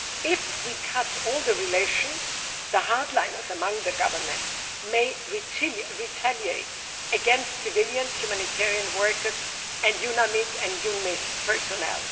If we cut off all relations, the hardliners among the Government may retaliate against civilians, humanitarian workers and UNMIS personnel.